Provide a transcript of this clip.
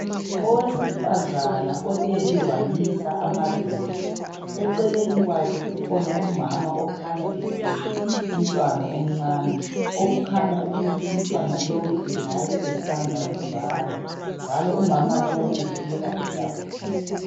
Owesifazana olele wamisa amadolo eceleni kwakhe ukhona umama okhanya ethwele umntwana omncane okukhanya ukuthi umntwana lowu engabe esanda kuzalwa njalo umama lowu ubukeka ejabulile.